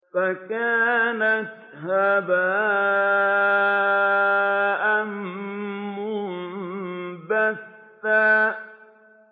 فَكَانَتْ هَبَاءً مُّنبَثًّا